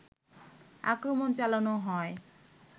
আক্রমণ চালানো হয়